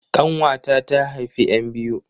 ƙanwata ta haifi 'yan biyu